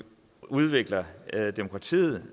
udvikler demokratiet